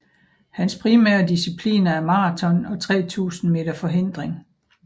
Hans primære discipliner er maraton og 3000 meter forhindring